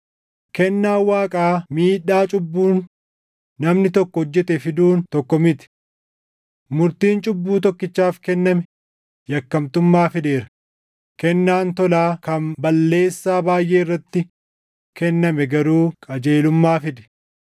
Kennaan Waaqaa miidhaa cubbuun namni tokko hojjete fiduun tokko miti: Murtiin cubbuu tokkichaaf kenname yakkamtummaa fideera; kennaan tolaa kan balleessaa baayʼee irratti kenname garuu qajeelummaa fide.